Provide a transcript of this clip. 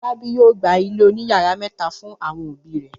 Fọlábí yóò gba ilé oníyàrá mẹ́ta fún àwọn òbí rẹ̀.